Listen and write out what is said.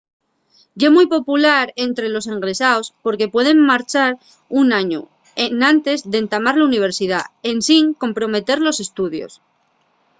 ye mui popular ente los egresaos porque pueden marchar un añu enantes d'entamar la universidá ensin comprometer los estudios